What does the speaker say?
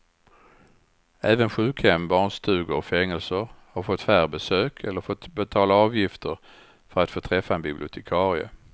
Även sjukhem, barnstugor och fängelser har fått färre besök eller fått betala avgifter för att få träffa en bibliotekarie.